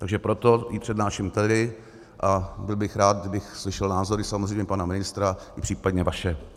Takže proto ji přednáším tady a byl bych rád, kdybych slyšel názory samozřejmě pana ministra i případně vaše.